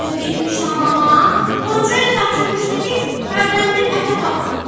Bu gün getmişdi hamama, qonşunu da tapşırmışdı ki, hərdən bir ətə baxsın.